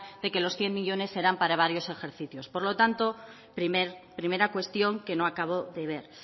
de que los cien millónes serán para varios ejercicios por lo tanto primera cuestión que no acabo de ver